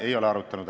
Ei ole arutanud.